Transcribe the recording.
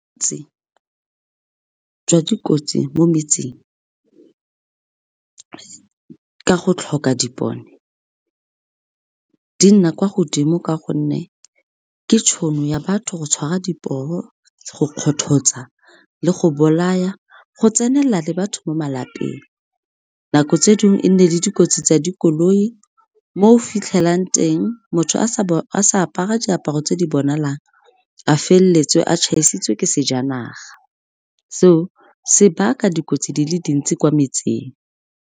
jwa dikotsi mo metseng ka go tlhoka dipone di nna kwa godimo ka gonne ke tšhono ya batho go tshwara di poo, go kgothotsa le go bolaya, go tsenela le batho mo malapeng. Nako tse dingwe e nne le dikotsi tsa dikoloi mo o fitlhelang teng motho a sa apara diaparo tse di bonalang a feleletse a tšhaisitswe ke sejanaga, seo se baka dikotsi di le dintsi kwa metseng.